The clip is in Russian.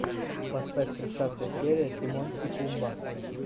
поставь тридцатая серия тимон и пумба